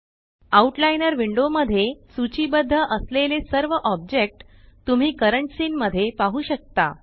out liner window मध्ये सूचीबद्ध असलेले सर्व ऑब्जेक्ट तुम्ही करंट सीन मध्ये पाहु शकता